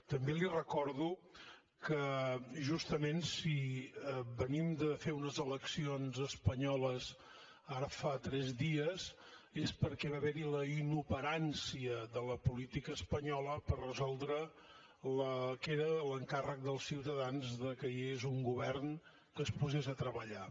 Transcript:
també li recordo que justament si venim de fer unes eleccions espanyoles ara fa tres dies és perquè va haver hi la inoperància de la política espanyola per resoldre el que era l’encàrrec dels ciutadans que hi hagués un govern que es posés a treballar